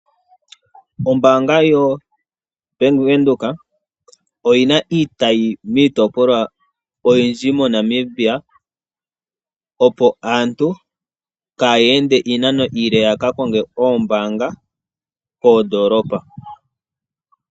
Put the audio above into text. Ombanga yoBank Windhoek oyina iitayi miitopolwa oyindji moNamibia opo aantu kaayende iinano iile yokuya koondolopa dhokokule yaka konge nenge yaka nane iimaliwa.